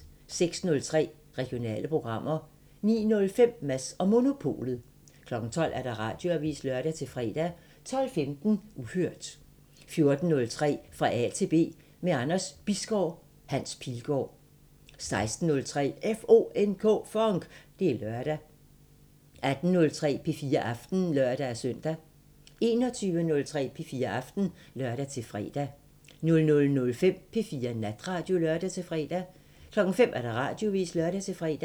06:03: Regionale programmer 09:05: Mads & Monopolet 12:00: Radioavisen (lør-fre) 12:15: Uhørt 14:03: Fra A til B – med Anders Bisgaard: Hans Pilgaard 16:03: FONK! Det er lørdag 18:03: P4 Aften (lør-søn) 21:03: P4 Aften (lør-fre) 00:05: P4 Natradio (lør-fre) 05:00: Radioavisen (lør-fre)